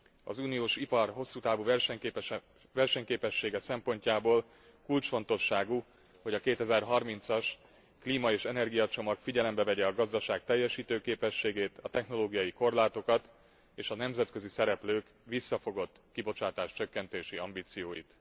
Az uniós ipar hosszú távú versenyképessége szempontjából kulcsfontosságú, hogy a 2030 as klíma és energiacsomag figyelembe vegye a gazdaság teljesítőképességét, a technológiai korlátokat és a nemzetközi szereplők visszafogott kibocsátás csökkentési ambícióit.